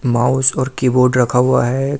Mouse और keyboard रखा हुआ है।